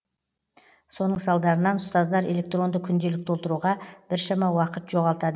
соның салдарынан ұстаздар электронды күнделік толтыруға біршама уақыт жоғалтады